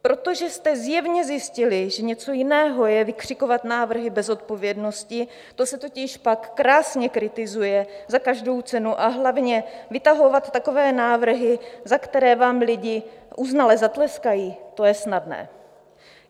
Protože jste zjevně zjistili, že něco jiného je vykřikovat návrhy bez zodpovědnosti, to se totiž pak krásně kritizuje za každou cenu, a hlavně vytahovat takové návrhy, za které vám lidi uznale zatleskají, to je snadné.